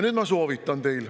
Mul on teile soovitus.